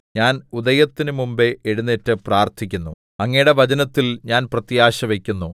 ഞാൻ ഉദയത്തിനു മുമ്പ് എഴുന്നേറ്റ് പ്രാർത്ഥിക്കുന്നു അങ്ങയുടെ വചനത്തിൽ ഞാൻ പ്രത്യാശവക്കുന്നു